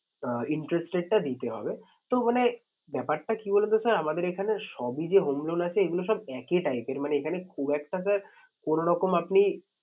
Interest rate টা দিতে হবে। তো মানে ব্যাপারটা কি বলুন তো sir আমাদের এখানে সবই যে home loan আছে এগুলো সব একই type এর মানে এখানে খুব একটা sir কোনো রকম আপনি